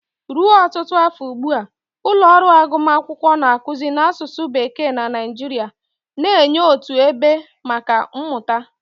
Ruo ọtụtụ afọ ugbu a, ụlọ ọrụ agụmakwụkwọ na-akụzi n'asụsụ Bekee na Nigeria, na-enye otu ebe maka mmụta.